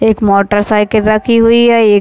एक motorcycle रखी हुई है एक --